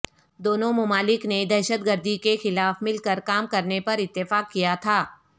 دونوں ممالک نے دہشت گردی کے خلاف مل کر کام کرنے پر اتفاق کیا تھا